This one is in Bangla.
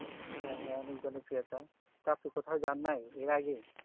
হ্যাঁ হ্যাঁ অনেক জনপ্র্রিয়তা তা তো কোথায় যাই নাই আর আগে